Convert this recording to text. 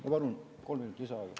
Ma palun kolm minutit lisaaega.